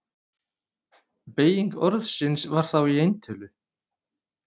Beyging orðsins var þá í eintölu: